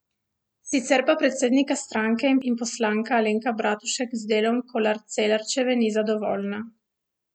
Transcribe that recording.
Sicer pa predsednica stranke in poslanka Alenka Bratušek z delom Kolar Celarčeve ni zadovoljna.